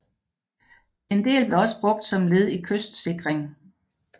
En del blev også brugt som led i kystsikring